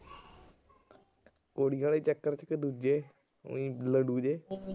ਕੁੜੀਆਂ ਦੇ ਚੱਕਰ ਚ ਕਿ ਦੂਜੇ। ਉਈ ਲੰਡੂ ਜੇ।